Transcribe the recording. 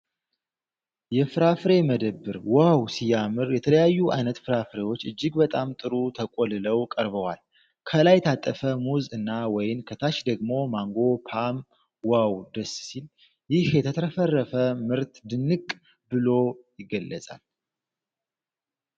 የፍራፍሬ መደብሩ ዋው ሲያምር! የተለያዩ አይነት ፍራፍሬዎች እጅግ በጣም ጥሩ ተቆልለው ቀርበዋል። ከላይ የታጠፈ ሙዝ እና ወይን፣ ከታች ደግሞ ማንጎ እና ፖም ዋው ደስ ሲል! ይህ የተትረፈረፈ ምርት ድንቅ ብሎ ይገለጻል።